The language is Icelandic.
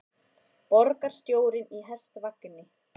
Borgarstjórinn í hestvagni